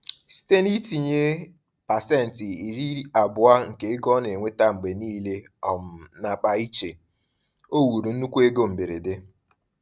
Site n’itinye 20% nke ego o na-enweta mgbe niile um n’akpa iche, o wuru nnukwu ego mberede.